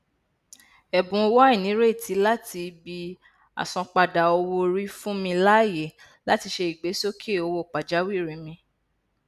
ẹbùn owó àìnírètí láti ibi àsanpadà owóorí fún mi láàyè láti ṣe ìgbésókè owó pàjáwìrì mi